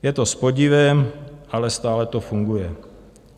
Je to s podivem, ale stále to funguje.